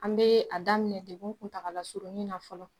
An bɛ an daminɛ degun kuntalasurunin na fɔlɔ.